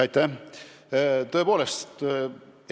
Aitäh!